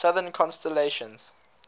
southern constellations